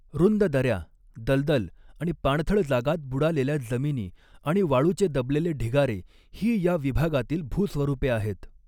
रुंद दऱ्या, दलदल आणि पाणथळ जागांत बुडालेल्या जमिनी आणि वाळूचे दबलेले ढिगारे ही या विभागातील भूस्वरूपे आहेत.